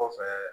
Kɔfɛ